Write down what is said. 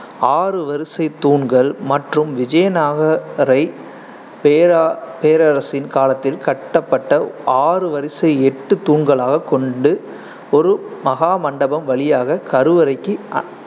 ஆறு வரிசை தூண்கள் மற்றும் விஜயநாகரை பேரா~ பேரரசின் காலத்தில் கட்டப்பட்ட ஆறு வரிசை எட்டு தூண்களாக கொண்டு ஒரு மகாமண்டபம் வழியாக கருவறைக்கு